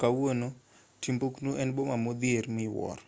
kawuono timbuktu en boma modhier miwuoro